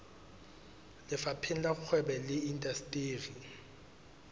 lefapheng la kgwebo le indasteri